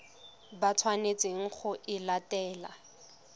ba tshwanetseng go e latela